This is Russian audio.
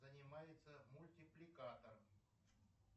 занимается мультипликатор